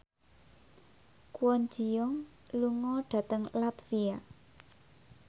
Kwon Ji Yong lunga dhateng latvia